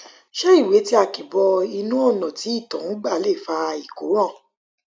ṣé ìwé tí a kì bọ inú ọnà tí ìtọ ń gbà lè fa ìkóràn